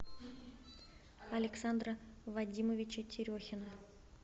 александра вадимовича терехина